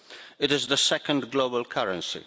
It is the second global currency.